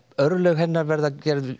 örlög hennar verða gerð